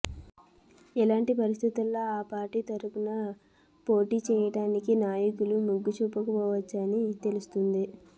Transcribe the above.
ఇలాంటి పరిస్థితిలో ఆ పార్టీ తరఫున పోటీ చేయటానికి నాయకులు మొగ్గు చూపకపోవచ్చు అని తెలుస్తోంది